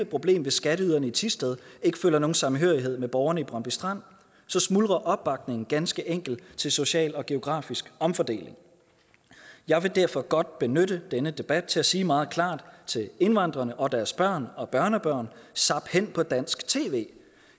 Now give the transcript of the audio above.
problem hvis skatteyderne i thisted ikke føler nogen samhørighed med borgerne i brøndby strand så smuldrer opbakningen ganske enkelt til social og geografisk omfordeling jeg vil derfor godt benytte denne debat til at sige meget klart til indvandrerne og deres børn og børnebørn zap hen på dansk tv